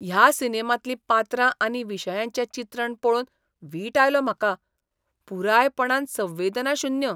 ह्या सिनेमांतलीं पात्रां आनी विशयांचें चित्रण पळोवन वीट आयलो म्हाका. पुरायपणान संवेदनाशुन्य!